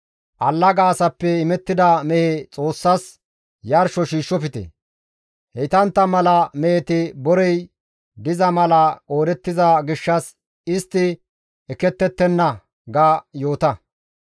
Allaga asappe imettida mehe Xoossas yarsho shiishshofte; heytantta mala meheti borey diza mala qoodettiza gishshas istti ekkettettenna› ga yoota.»